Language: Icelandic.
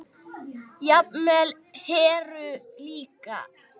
Jafnvel Heru líka.